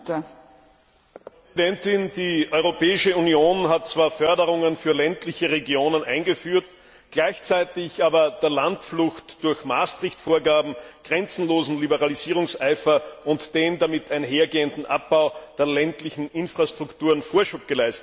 Frau Präsidentin, die Europäische Union hat zwar Förderungen für ländliche Regionen eingeführt, gleichzeitig aber der Landflucht durch die Maastricht Vorgaben grenzlosen Liberalisierungseifer und dem damit einhergehenden Abbau der ländlichen Infrastrukturen Vorschub geleistet.